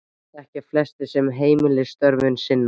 Þetta þekkja flestir sem heimilisstörfum sinna.